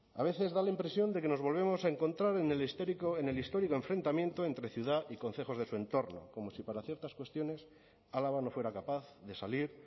a veces da la impresión de que nos volvemos a encontrar en el histórico enfrentamiento entre ciudad y concejos de su entorno como si para ciertas cuestiones álava no fuera capaz de salir